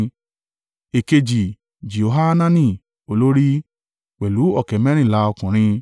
Èkejì, Jehohanani olórí, pẹ̀lú ọ̀kẹ́ mẹ́rìnlá (280,000) ọkùnrin;